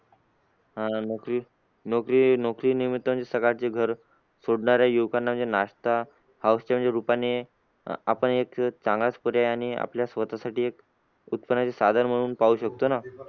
आह नोकरी नोकरी नोकरी निमित्त म्हणजे सकाळचे घर सोडणार आहे युवकांना म्हणजे नाश्ता house च्या म्हणजे अं रूपाने आपण एक चांगलाच पर्याय आणि आपल्या स्वतःसाठी एक उत्पन्नाचे साधन म्हणून पाहू शकतो ना.